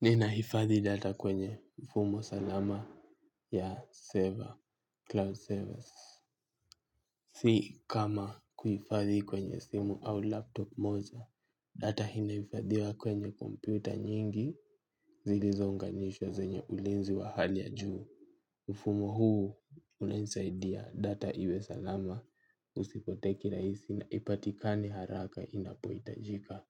Ninahifadhi data kwenye mfumo salama ya server, cloud service. Si kama kuhifadhi kwenye simu au laptop moja, data inahifadhiwa kwenye komputa nyingi zilizounganishwa zenye ulinzi wa hali ya juu. Mfumo huu unanisaidia data iwe salama usipotee kirahisi na ipatikane haraka inapohitajika.